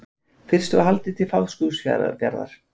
Fyrst var haldið til Fáskrúðsfjarðar.